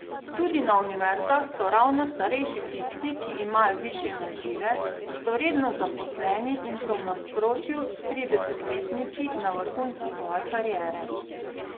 Tudi na univerzah so ravno starejši tisti, ki imajo višje nazive, so redno zaposleni in so v nasprotju s tridesetletniki na vrhuncu svoje kariere.